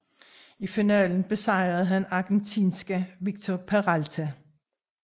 I finalen besejrede han argentinske Víctor Peralta